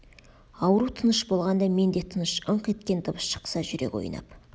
ауру тыныш болғанда мен де тыныш ыңқ еткен дыбыс шықса жүрек ойнап